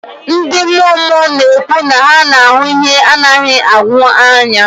Ndị mmụọ mmụọ na-ekwu na ha na-ahụ ihe a na-adịghị ahụ anya